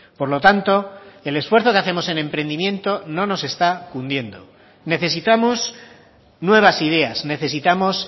por lo tanto el esfuerzo que hacemos en emprendimiento no nos está cundiendo necesitamos nuevas ideas necesitamos